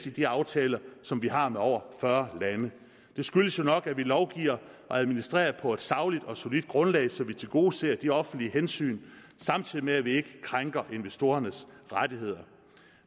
i de aftaler som vi har med over fyrre lande det skyldes jo nok at vi lovgiver og administrerer på et sagligt og solidt grundlag så vi tilgodeser de offentlige hensyn samtidig med at vi ikke krænker investorernes rettigheder